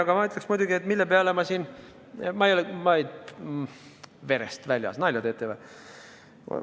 Aga ma ütleksin muidugi, et mille peale ma siin – verest väljas, nalja teete või?